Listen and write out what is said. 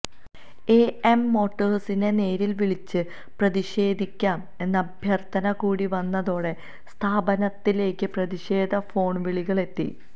A M മോട്ടേഴ്സിനെ നേരിൽ വിളിച്ച് പ്രതിഷേധിക്കാം എന്ന അഭ്യർത്ഥന കൂടി വന്നതോടെ സ്ഥാപനത്തിലേക്കും പ്രതിഷേധ ഫോൺവിളികൾ എത്തി